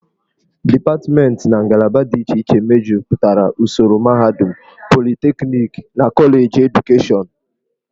Dipatmentị na ngalaba dị iche iche mejupụtara usoro mahadum, politekniki na koleji edukashọnụ.